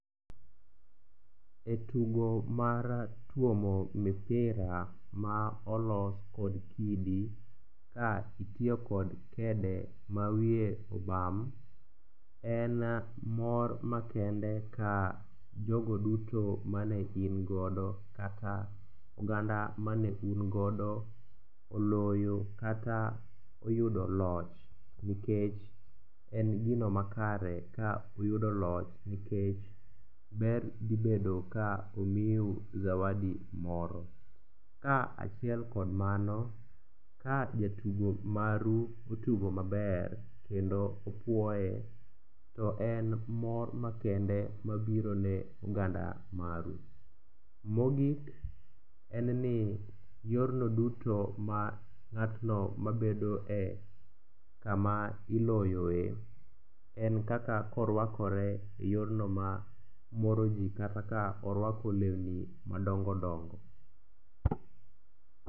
E tugo mar tuomo mipira ma olos kod kidi ka itiyo kod kede ma wiye obam, en mor makende ka jogo duto mane ingodo kata oganda mane ungodo oloyo kata oyudo loch nikech en gino makare ka uyudo loch nikech ber dhibedo ka omiu zawadi moro. Ka achiel kod mano, ka jatugo maru otugo maber kendo opuoye to en mor makende mabiro ne oganda maru. Mogik en ni yorno duto ma ng'atno ma bedoe kama iloyoe en kaka korwakore e yorno mamoro ji kata ka ka orwako lewni madongodongo.